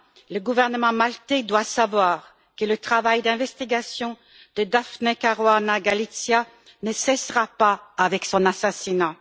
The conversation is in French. le gouvernement maltais doit savoir que le travail d'investigation de Daphne Caruana Galizia ne cessera pas avec son assassinat.